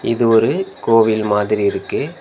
இது ஒரு கோவில் மாதிரி இருக்கு.